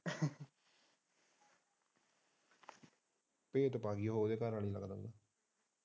ਭੇਤ ਭਾ ਗਈ ਹੋਣੀ ਓਹਦੀ ਘਰਵਾਲੀ ਲੱਗਦਾ।